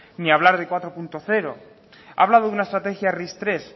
ni a hablar de cuatro punto cero ha hablado de una estrategia ris tres